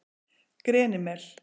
Grenimel